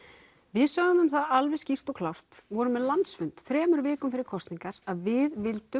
við sögðum alveg skýrt og klárt vorum með landsfund þremur vikum fyrir kosningar að við vildum